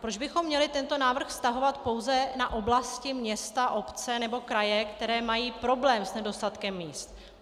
Proč bychom měli tento návrh vztahovat pouze na oblasti, města, obce nebo kraje, které mají problém s nedostatkem míst?